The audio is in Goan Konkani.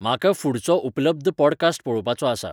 म्हाका फु्डचो उपलब्ध पॉडकास्ट पळोवपाचो आसा